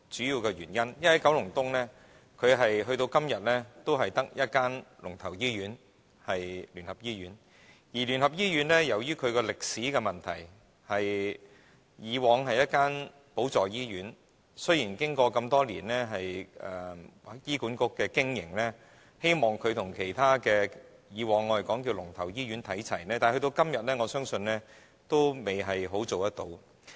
因為九龍東至今只有一間"龍頭"醫院，而聯合醫院由於歷史的問題，以往是一間輔助醫院，雖然經過醫院管理局多年經營，希望它與其他"龍頭"醫院看齊，但直到今天，我相信它還未完全做到。